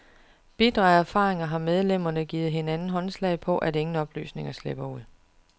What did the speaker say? Bitre af erfaringer har medlemmerne givet hinanden håndslag på, at ingen oplysninger slipper ud.